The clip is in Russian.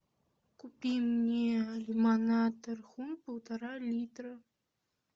купи мне лимонад тархун полтора литра